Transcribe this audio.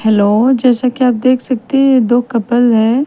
Hello जैसा की आप देख सकते हैं ये दो कपल है ।